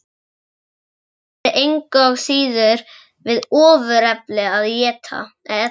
Það væri engu að síður við ofurefli að etja.